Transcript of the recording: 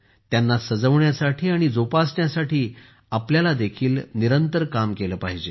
त्यांना सजवण्यासाठी आणि जोपासण्यासाठी आपल्याला देखील निरंतर काम केले पाहिजे